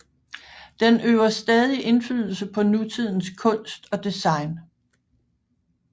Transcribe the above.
Den øver stadig indflydelse på nutidens kunst og design